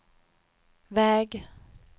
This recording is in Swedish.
väg